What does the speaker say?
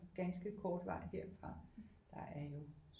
Ganske kort vej herfra der er jo